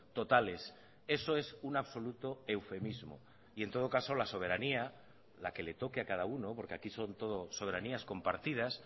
totales eso es un absoluto eufemismo y en todo caso la soberanía la que le toque a cada uno porque aquí son todas soberanías compartidas